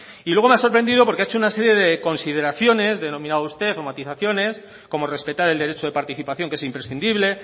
y luego me ha sorprendido porque ha hecho una serie de consideraciones denominaba usted o matizaciones como respetar el derecho de participación que es imprescindible